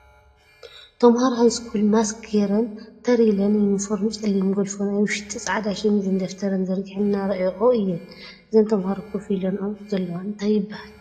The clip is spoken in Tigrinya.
ተምሃሮ ሃይስኩል ማስክ ጌረን ተር ኢለን ዩኒፎርም ፀሊም ጎልፎ ናይ ውሽጢ ፃዕዳ ሸሚዝ ደፍተረን ዘርጊሐን እናረኣየኦ አየን ። እዘን ተምሃሮ ኮፍ ኢለንኦ ዘለዋ እንታይ ይበሃል ?